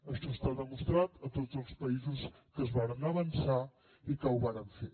això està demostrat a tots els països que es varen avançar i que ho varen fer